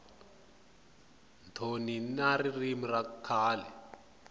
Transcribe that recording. thoni na ririmi ra kahle